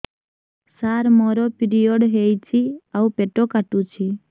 ସାର ମୋର ପିରିଅଡ଼ ହେଇଚି ଆଉ ପେଟ କାଟୁଛି